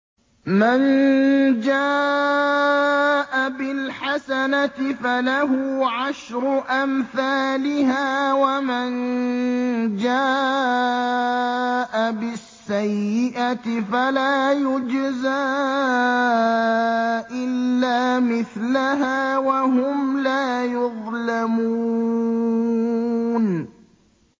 مَن جَاءَ بِالْحَسَنَةِ فَلَهُ عَشْرُ أَمْثَالِهَا ۖ وَمَن جَاءَ بِالسَّيِّئَةِ فَلَا يُجْزَىٰ إِلَّا مِثْلَهَا وَهُمْ لَا يُظْلَمُونَ